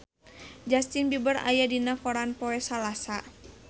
Justin Beiber aya dina koran poe Salasa